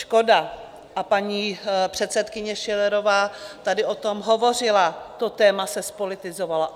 Škoda, a paní předsedkyně Schillerová tady o tom hovořila, to téma se zpolitizovalo.